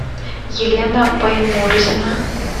елена баймурзина